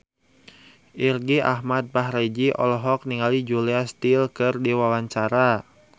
Irgi Ahmad Fahrezi olohok ningali Julia Stiles keur diwawancara